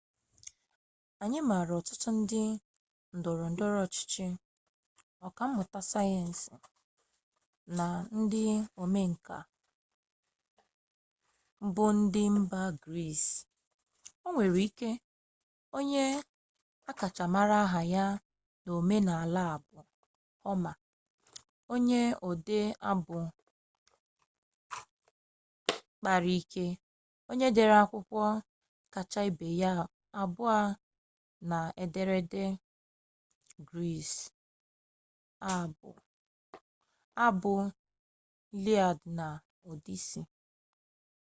anyị maara ọtụtụ ndị ndọrọ ndọrọ ọchịchị ọka mmụta sayensị na ndị omenka buụ ndị mba gris onwere ike onye akacha mara aha ya n'omenala a bụ homa onye ode abụ kpara ike onye dere akwụkwọ kacha ibe ya abụọ n'ederede gris abụ iliad na odisi